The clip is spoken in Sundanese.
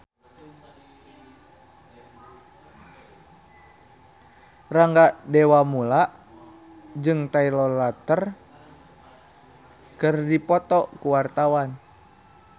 Rangga Dewamoela jeung Taylor Lautner keur dipoto ku wartawan